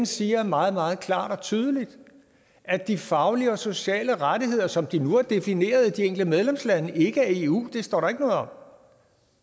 siger meget meget klart og tydeligt at de faglige og sociale rettigheder som de nu er defineret i de enkelte medlemslande ikke af eu det står der ikke noget om